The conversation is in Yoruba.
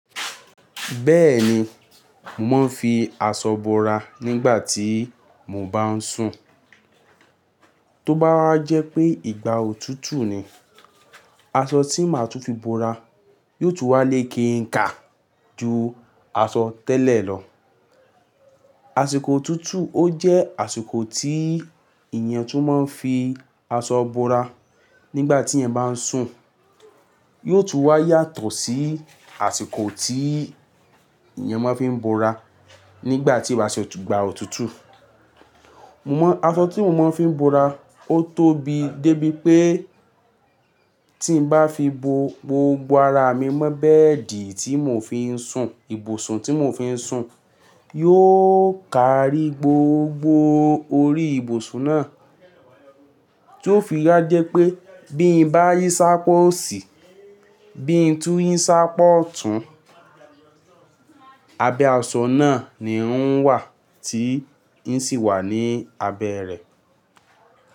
Bẹ́ẹ̀ni, mò ń fi aṣọ bora nígbà tí mò ń bá ń sùn. Tó bá jẹ́ pé ìgbà òtútù ni, aṣọ tí màá tún fi bora, yóò tún wà lé ke nká ju aṣọ tẹ́lẹ̀ lọ. Àṣìkò òtútù ó jẹ́ àṣìkò tí èèyàn tún máa ń fi aṣọ bora nígbà tí èèyàn bá ń sùn. Yóò tún wà yàtọ̀ sí àsìkò tí èèyàn máa ń fi bora nígbà tí ó bá ṣe, ìgbà òtútù. Mo mọ, aṣọ tí mò máa ń fi bora, ó tóbi débi pé tí n bá fi bo gbogbo ara mi mọ́ bẹ́ẹ̀dì tí mò ń fi ń sùn, ibùsùn tí mò ń fi ń sùn, yóò ka rí gbogbo orí ibùsùn náà. Tí ó fi wa jẹ́ pé bí n bá yín sá pọ̀ sì, bí n tún yín sá pọ̀ tún, abẹ́ aṣọ náà ni ó ń wà tí yín sì wà ní abẹ́ rẹ̀.